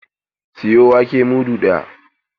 Sayo wake mudu ɗaya!